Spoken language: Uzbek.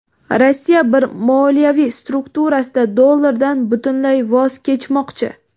Rossiya bir moliyaviy strukturasida dollardan butunlay voz kechmoqchi.